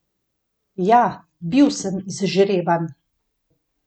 Ja, bil sem izžreban!